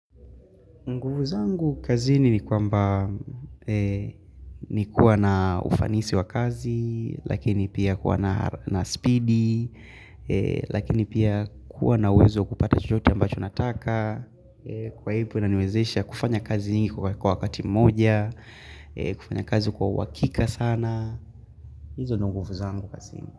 Nguvu zangu kazini ni kwamba ni kuwa na ufanisi wa kazi, lakini pia kuwa na spidi, lakini pia kuwa na uwezo kupata chochoote ambacho nataka, kwa hivo inaniwezesha kufanya kazi nyingi kwa wakati moja, kufanya kazi kwa uhakika sana, hizo nguvu zangu kazini.